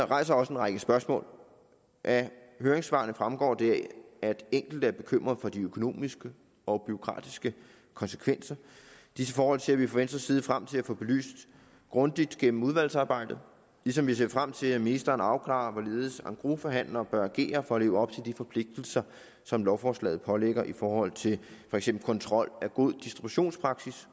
rejser også en række spørgsmål af høringssvarene fremgår det at enkelte er bekymrede for de økonomiske og bureaukratiske konsekvenser disse forhold ser vi fra venstres side frem til at få belyst grundigt gennem udvalgsarbejdet ligesom vi ser frem til at ministeren afklarer hvorledes engrosforhandlere bør agere for at leve op til de forpligtelser som lovforslaget pålægger i forhold til for eksempel kontrol af god distributionspraksis